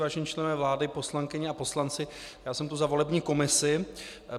Vážení členové vlády, poslankyně a poslanci, já jsem tu za volební komisi.